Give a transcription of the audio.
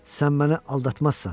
Sən məni aldatmazsan.